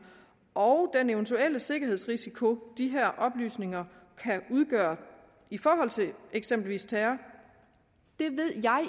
og den eventuelle sikkerhedsrisiko de her oplysninger kan udgøre i forhold til eksempelvis terror det ved jeg